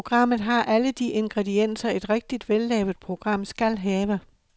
Programmet har alle de ingredienser, et rigtigt vellavet program skal have.